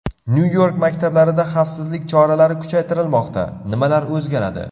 Nyu-York maktablarida xavfsizlik choralari kuchaytirilmoqda: nimalar o‘zgaradi?.